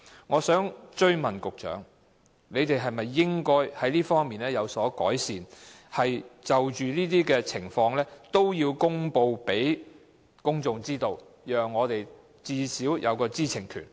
我想追問局長，當局應否就此作出改善，即就着這些情況，均要公布周知，最低限度確保公眾的知情權？